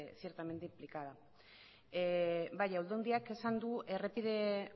ciertamente implicada bai aldundiak esan du errepide